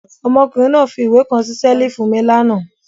Ọmọkùnrin náà fi ìwé kan sí ṣẹ́lífù mi lánàá.